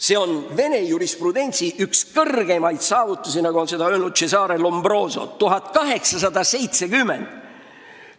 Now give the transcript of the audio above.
See on Vene jurisprudentsi üks kõrgemaid saavutusi, nagu ütles Cesare Lombroso 1870. aastal.